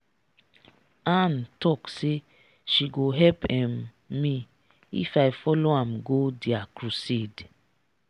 ann talk say she go help um me if i follow am go dia crusade